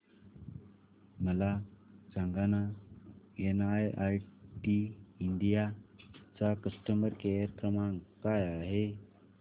मला सांगाना NIIT India चा कस्टमर केअर क्रमांक काय आहे